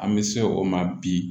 An bɛ se o ma bi